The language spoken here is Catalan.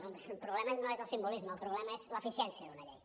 no el problema no és el simbolisme el problema és l’eficiència d’una llei